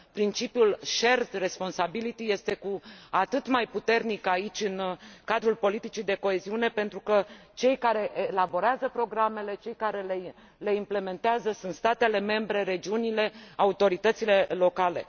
Principiul shared responsibility este cu atât mai puternic aici, în cadrul politicii de coeziune, pentru că cele care elaborează programele, cele care le implementează sunt statele membre, regiunile, autoritățile locale.